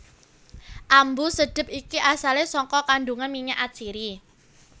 Ambu sedhep iki asalé saka kandungan minyak atsiri